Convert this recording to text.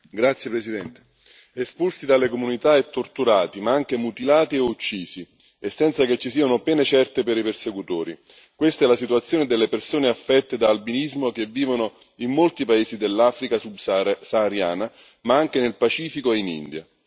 Signor Presidente, onorevoli colleghi, espulsi dalle comunità e torturati, ma anche mutilati e uccisi e senza che ci siano pene certe per i persecutori questa è la situazione delle persone affette da albinismo che vivono in molti paesi dell'Africa subsahariana, ma anche nel Pacifico e in India.